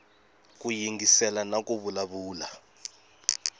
ku yingisela na ku vulavula